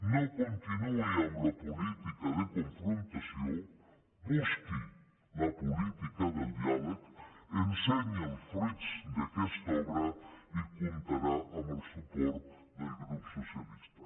no continuï amb la política de confrontació busqui la política del diàleg ensenyi els fruits d’aquesta obra i comptarà amb el suport del grup socialista